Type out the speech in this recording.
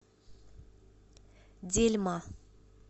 дельма